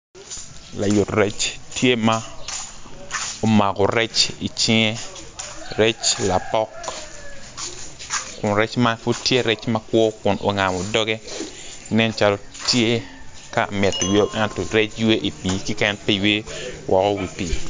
Layut rec tye ma omako rec i cinge rec lapok kun rec man pud tye rec makwo kun ongamo dogge nen calo tye ka mito yweyo ento rec ywe i pii keken pi ywe woko i wi pii